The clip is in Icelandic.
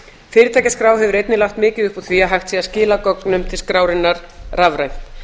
fyrirtækjaskrá hefur einnig lagt mikið upp úr því að hægt sé að skila gögnum til skrárinnar rafrænt